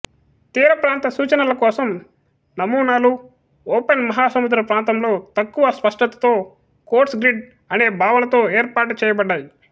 తీరప్రాంత సూచనల కోసం నమూనాలు ఓపెన్ మహాసముద్ర ప్రాంతంలో తక్కువ స్పష్టతతో కోర్స్ గ్రిడ్ అనే భావనతో ఏర్పాటు చేయబడ్డాయి